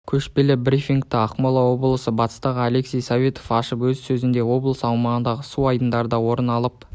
көшпелі брифингті ақмола облысы бастығы алексей советов ашып өз сөзінде облыс аумағындағы су айдындарында орын алып